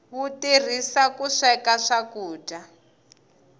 wu turhisiwa ku sweka swakudya